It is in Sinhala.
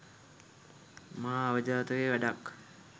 මහා අවජාතක වැඩක්.